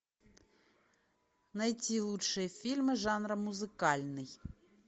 найти лучшие фильмы жанра музыкальный